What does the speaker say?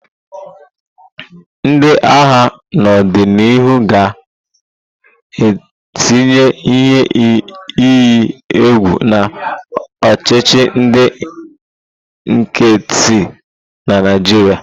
Ndị agha n'odinihu ga-etinye ihe iyi egwu na ọchịchị ndị nkịtị na Naịjirịa.